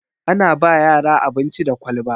Ana ba yara abinci da kwalba